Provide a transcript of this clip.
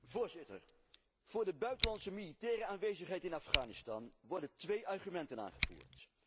Voorzitter, voor de buitenlandse militaire aanwezigheid in Afghanistan worden twee argumenten aangevoerd.